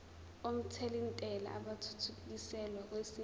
omthelintela athuthukiselwa kwesinye